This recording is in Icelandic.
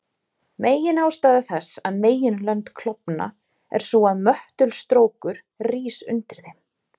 Meginástæða þess að meginlönd klofna er sú að möttulstrókur rís undir þeim.